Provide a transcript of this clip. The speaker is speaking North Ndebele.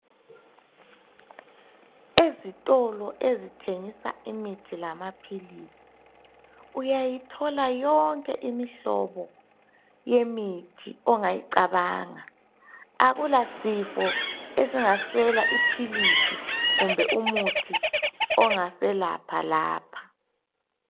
Ezitolo ezithengisa imithi lamaphilisi uyayithola yonke imihlobo yemithi ongayicabanga, akulasifo esingaswela iphilisi kumbe umuthi ongaselapha lapha.